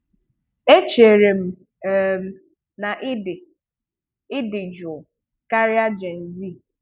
Echerem um na ị dị ị dị jụụ karịa Jay-z.